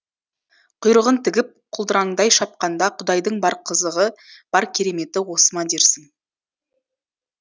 құйрығын тігіп құлдыраңдай шапқанда құдайдың бар қызығы бар кереметі осы ма дерсің